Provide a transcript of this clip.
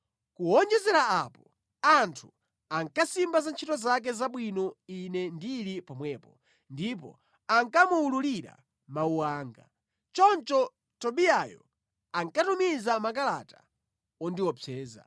Kuwonjezera apo, anthu ankasimba za ntchito zake zabwino ine ndili pomwepo ndipo anakamuwululira mawu anga. Choncho Tobiyayo ankatumiza makalata ondiopseza.